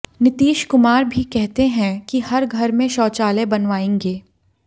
नीतीश कुमार भी कहते हैं कि हर घर में शौचालय बनवायेंगे